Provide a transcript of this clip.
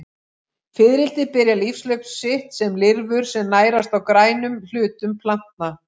Fiðrildi byrja lífshlaup sitt sem lirfur sem nærast á grænum hlutum plantna.